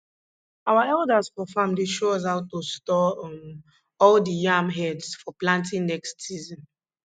our elders for farm dey show us how to store um all the yam heads for planting next season